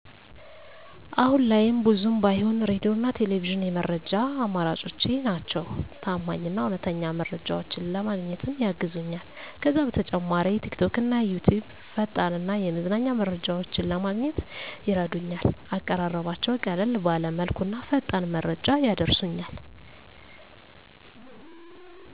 አሁን ላይም ብዙም ባይሆን ሬዲዮና ቴሌቪዥን የመረጃ አማራጮቼ ናቸው። ታማኝ እና እውነተኛ መረጃዎችን ለማግኘትም ያግዙኛል። ከዛ በተጨማሪ ቲክቶክና ዩትዩብ ፈጣን እና የመዝናኛ መረጃዎችን ለማግኘት ይረዱኛል፣ አቀራረባቸው ቀለል ባለ መልኩና ፈጣን መረጃ ያደርሱኛል።